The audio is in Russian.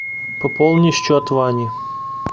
пополни счет вани